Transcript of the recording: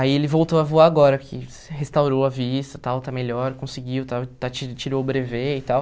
Aí ele voltou a voar agora, que restaurou a vista, tal está melhor, conseguiu, tal e está ti tirou o brevê e tal.